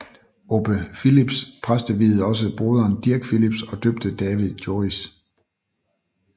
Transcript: Obbe Philips præsteviede også broderen Dirk Philips og døbte David Joris